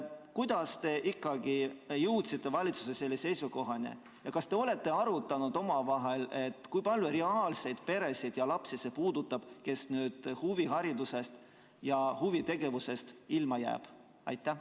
Kuidas te ikkagi jõudsite valitsuses selle seisukohani ja kas te olete arutanud omavahel, kui palju peresid ja lapsi see puudutab, kes nüüd huviharidusest ja huvitegevusest ilma jäävad?